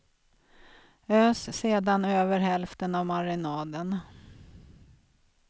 Ös sedan över hälften av marinaden.